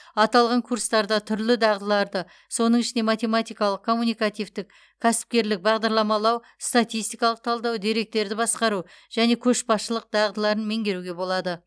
аталған курстарда түрлі дағдыларды соның ішінде математикалық коммуникативтік кәсіпкерлік бағдарламалау статистикалық талдау деректерді басқару және көшбасшылық дағдыларын меңгеруге болады